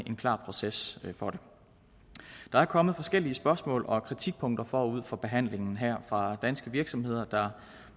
en klar proces for det der er kommet forskellige spørgsmål og kritikpunkter forud for behandlingen her fra danske virksomheder der